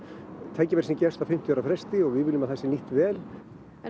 tækifæri sem gefst á fimmtíu ára fresti og við viljum að það sé nýtt vel en